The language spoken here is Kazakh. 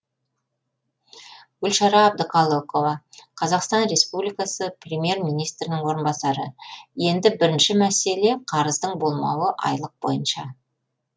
гүлшара әбдіқалықова қазақстан республикасы премьер министрінің орынбасары енді бірінші мәселе қарыздың болмауы айлық бойынша